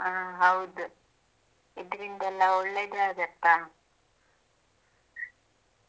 ಹಾಂ ಹೌದು ಇದರಿಂದೆಲ್ಲಾ ಒಳ್ಳೇದೆ ಆಗುತ್ತಾ